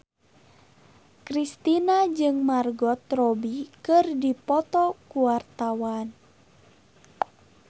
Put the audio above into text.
Kristina jeung Margot Robbie keur dipoto ku wartawan